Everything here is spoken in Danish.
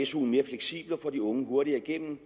su’en mere fleksibel og får de unge hurtigere igennem